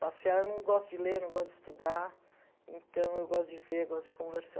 Passear eu não gosto de ler, não gosto de estudar, então eu gosto de ver, gosto de conversar.